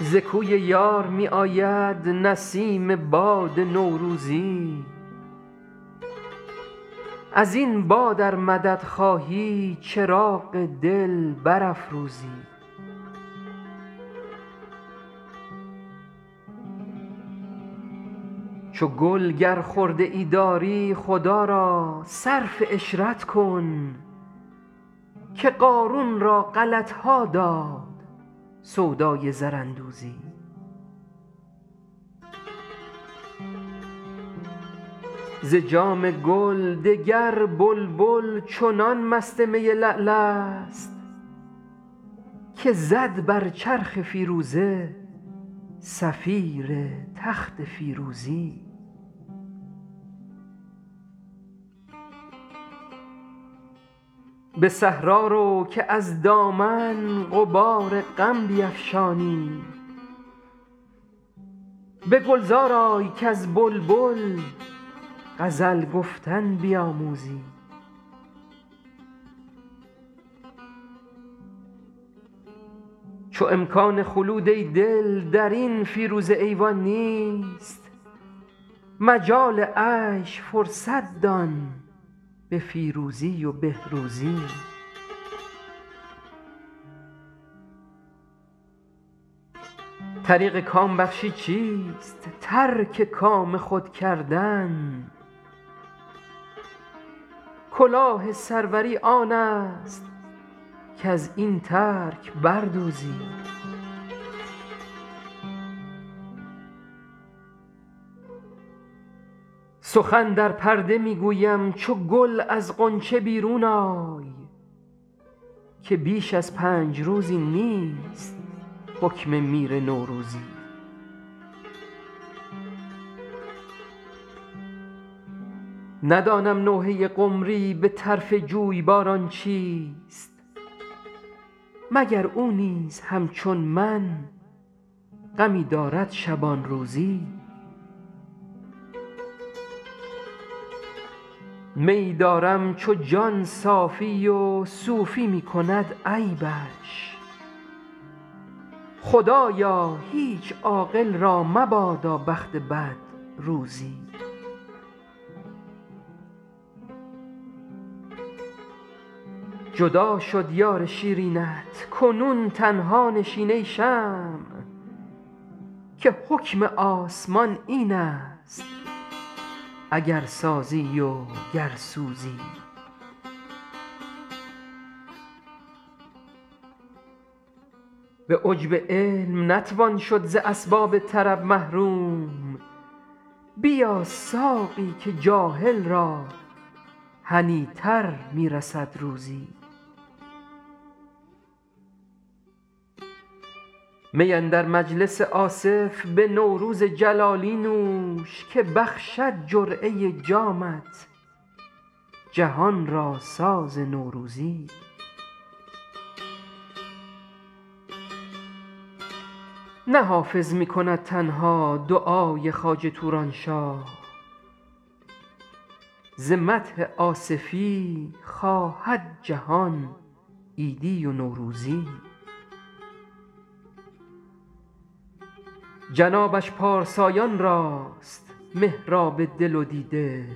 ز کوی یار می آید نسیم باد نوروزی از این باد ار مدد خواهی چراغ دل برافروزی چو گل گر خرده ای داری خدا را صرف عشرت کن که قارون را غلط ها داد سودای زراندوزی ز جام گل دگر بلبل چنان مست می لعل است که زد بر چرخ فیروزه صفیر تخت فیروزی به صحرا رو که از دامن غبار غم بیفشانی به گلزار آی کز بلبل غزل گفتن بیاموزی چو امکان خلود ای دل در این فیروزه ایوان نیست مجال عیش فرصت دان به فیروزی و بهروزی طریق کام بخشی چیست ترک کام خود کردن کلاه سروری آن است کز این ترک بر دوزی سخن در پرده می گویم چو گل از غنچه بیرون آی که بیش از پنج روزی نیست حکم میر نوروزی ندانم نوحه قمری به طرف جویباران چیست مگر او نیز همچون من غمی دارد شبان روزی میی دارم چو جان صافی و صوفی می کند عیبش خدایا هیچ عاقل را مبادا بخت بد روزی جدا شد یار شیرینت کنون تنها نشین ای شمع که حکم آسمان این است اگر سازی و گر سوزی به عجب علم نتوان شد ز اسباب طرب محروم بیا ساقی که جاهل را هنی تر می رسد روزی می اندر مجلس آصف به نوروز جلالی نوش که بخشد جرعه جامت جهان را ساز نوروزی نه حافظ می کند تنها دعای خواجه توران شاه ز مدح آصفی خواهد جهان عیدی و نوروزی جنابش پارسایان راست محراب دل و دیده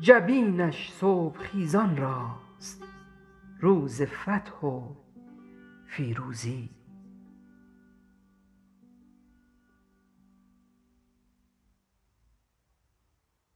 جبینش صبح خیزان راست روز فتح و فیروزی